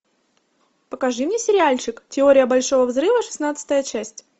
покажи мне сериальчик теория большого взрыва шестнадцатая часть